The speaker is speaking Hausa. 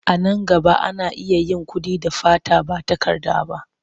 A nan gaba, ana iya yin kuɗi da fata ba takarda ba.